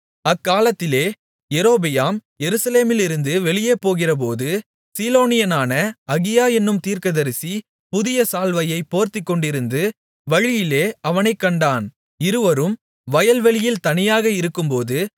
அக்காலத்திலே யெரொபெயாம் எருசலேமிலிருந்து வெளியே போகிறபோது சீலோனியனான அகியா என்னும் தீர்க்கதரிசி புதிய சால்வையைப் போர்த்துக்கொண்டிருந்து வழியிலே அவனைக் கண்டான் இருவரும் வயல்வெளியில் தனியாக இருக்கும்போது